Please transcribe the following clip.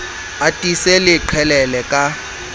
a tiise le qhelele ka